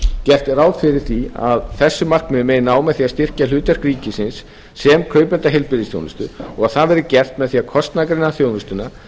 gert er ráð fyrir því að þessum markmiðum megi ná með því að styrkja hlutverk ríkisins sem kaupanda heilbrigðisþjónustu og að það verði gert með því að kostnaðargreina þjónustuna